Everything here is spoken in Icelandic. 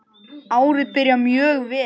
Árið byrjar mjög vel.